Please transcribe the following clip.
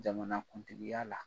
Jamanakuntigiya la